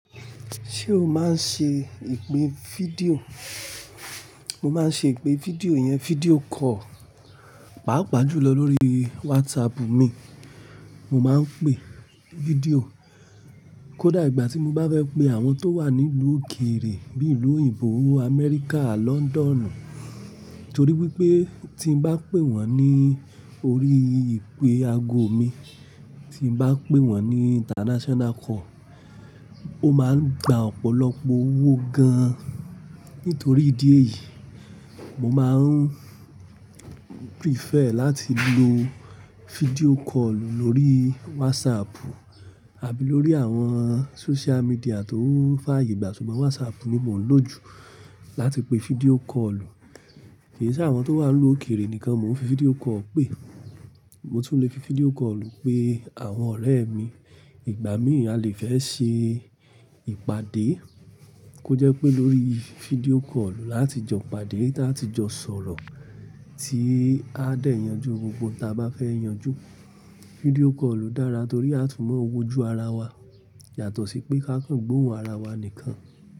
Ṣé o máa ń ṣe ìpè fídíò? Mo máa ń ṣe ìpè fídíò iyẹn, fídíò call, pàápàá jùlọ lórí WhatsApp mi. Mo máa ń pè fídíò kó dà ìgbà tí mo bá fẹ́ pe àwọn tó wà ní ìlú òkèrè bí i ìlú òyìnbó, Amẹ́ríkà, Lọ́ńdọ́ọ́nù. Nítorí wípé tí n bá pè wọ́n ní orí ìpè ago mi, tí n bá pè wọ́n ní international call, ó máa ń gba ọ̀pọ̀lọpọ̀ owó gan. Nítorí ìdí èyí, mo máa ń prefer láti lo fídíò call lórí WhatsApp àbí lórí àwọn social media tó fàyè gbà. Ṣùgbọ́n WhatsApp ni mò ń lò jù láti pe fídíò call. Kì í ṣe àwọn tó wà ní ìlú òkèrè nìkan mo ń fi fídíò call pè. Mo tún lè fi fídíò call pe àwọn ọ̀rẹ́ mi. Ìgbà mìí a lè fẹ́ ṣe ìpàdé kó jẹ́ pé lórí fídíò call láti jọ pàdé ta tí jọ sọ̀rọ̀ tí á dà yanjú gbogbo tí a bá fẹ́ yanjú. Fídíò call dára torí a tún mọ owó ju ara wa yàtọ̀ sí pé káńkàn gbóhùn ara wa nìkan.